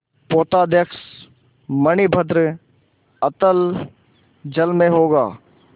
पोताध्यक्ष मणिभद्र अतल जल में होगा